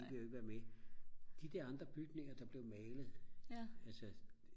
de gider jo ikke være med de der andre bygninger der blev malet altså